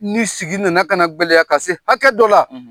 Ni sigi nana kana gwɛlɛya k'a se hakɛ dɔ la